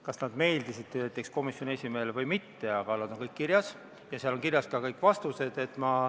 Kas need meeldisid komisjoni esimehele või mitte, need on kõik kirjas ja seal on kirjas ka kõik vastused.